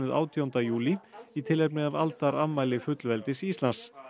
átjánda júlí í tilefni af aldarafmæli fullveldis Íslands